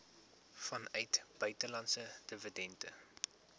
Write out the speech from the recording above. vanuit buitelandse dividende